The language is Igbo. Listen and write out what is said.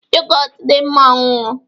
yogọt dị mma ọṅụṅụ